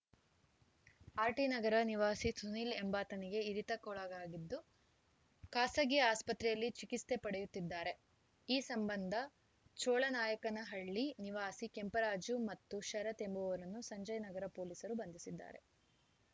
RT Nagar ನಿವಾಸಿ ಸುನೀಲ್‌ ಎಂಬಾತನಿಗೆ ಇರಿತಕ್ಕೊಳಗಾಗಿದ್ದು ಖಾಸಗಿ ಆಸ್ಪತ್ರೆಯಲ್ಲಿ ಚಿಕಿತ್ಸೆ ಪಡೆಯುತ್ತಿದ್ದಾರೆ ಈ ಸಂಬಂಧ ಚೋಳನಾಯಕನಹಳ್ಳಿ ನಿವಾಸಿ ಕೆಂಪರಾಜು ಮತ್ತು ಶರತ್‌ ಎಂಬುವರನ್ನು ಸಂಜಯ್ ನಗರ ಪೊಲೀಸರು ಬಂಧಿಸಿದ್ದಾರೆ